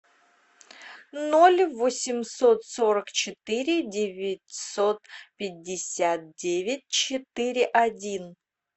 ноль восемьсот сорок четыре девятьсот пятьдесят девять четыре один